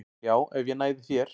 Já, ef ég næði þér